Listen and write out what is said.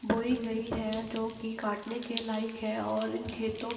बोई गई है जो की काटने के लायक है और इन खेतों --